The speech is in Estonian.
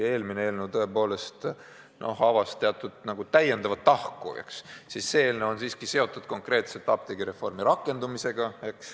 Eelmine eelnõu avas teatud täiendava tahu, see eelnõu on aga seotud konkreetselt apteegireformi rakendumisega.